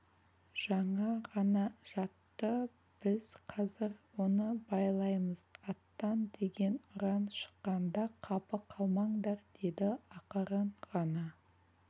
жаңа ғана жатты біз қазір оны байлаймыз аттан деген ұран шыққанда қапы қалмаңдар деді ақырын ғана